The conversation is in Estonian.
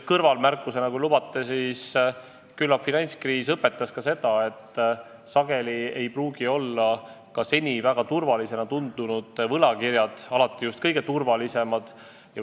Kõrvalmärkusena, kui lubate, ütlen, et küllap finantskriis õpetas, et sageli ei pruugi ka seni väga turvalisena tundunud võlakirjad alati kõige turvalisemad olla.